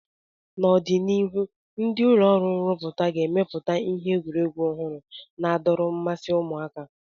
N'ọdịnihu, ndi ụlọ ọrụ nruputa ga-emepụta ihe egwuregwu ọhụrụ na-adọrọ mmasi ụmụaka